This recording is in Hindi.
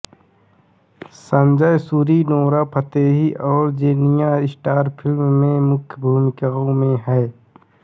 संजय सूरी नोरा फतेही और जेनिया स्टार फ़िल्म में मुख्य भूमिकाओं में हैं